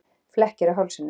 Flekkir á hálsinum.